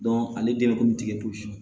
ale den ko bi tigɛ